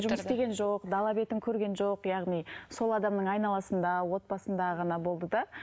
жұмыс істеген жоқ дала бетін көрген жоқ яғни сол адамның айналасында отбасында ғана болды да